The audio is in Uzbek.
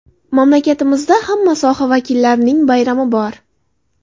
Mamlakatimizda hamma soha vakillarining bayrami bor.